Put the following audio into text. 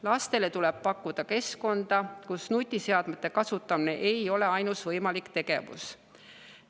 Lastele tuleb pakkuda keskkonda, kus nutiseadmete kasutamine ei ole ainus võimalik tegevus.